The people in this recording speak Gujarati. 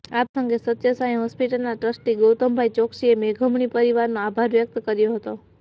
આ પ્રસંગે સત્ય સાંઈ હોસ્પિટલના ટ્રસ્ટી ગોૈતમભાઈ ચોકસીએ મેઘમણી પરિવારનો આભાર વ્યકત કર્યો હતો